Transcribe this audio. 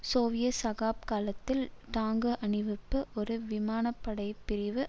Soviet சகாப்த காலத்தில் tank அணிவகுப்பு ஒரு விமானப்படைப்பிரிவு